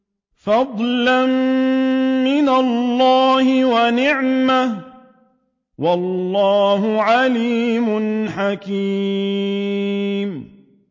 فَضْلًا مِّنَ اللَّهِ وَنِعْمَةً ۚ وَاللَّهُ عَلِيمٌ حَكِيمٌ